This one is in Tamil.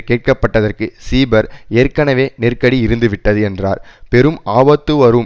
கேட்க பட்டதற்கு சீபர் ஏற்கனவே நெருக்கடி இருந்துவிட்டது என்றார் பெரும் ஆபத்து வரும்